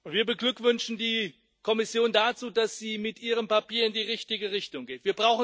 Wir beglückwünschen die Kommission dazu, dass sie mit ihrem Papier in die richtige Richtung geht.